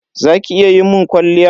Za ki iya mun kwalliya?